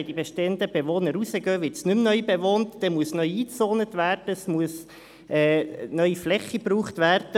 Gehen die bestehenden Bewohner raus, muss neu eingezont und neue Fläche gebraucht werden.